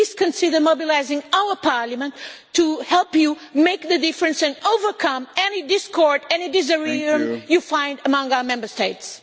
Please consider mobilising our Parliament to help you make the difference and overcome any discord and any disagreement you find among our Member States.